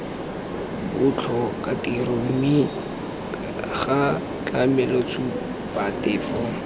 botlhokatiro mme ca tlamele tshupatefo